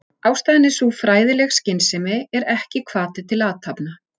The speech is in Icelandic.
Ástæðan er sú að fræðileg skynsemi er ekki hvati til athafna.